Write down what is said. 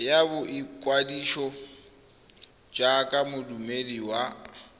ya boikwadiso jaaka moduedi wa